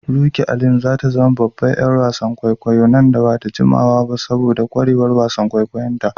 Rukky Alim za ta zama babban ƴar wasa nan ba da jimawa ba saboda kwarewar wasan kwaikwayo nata.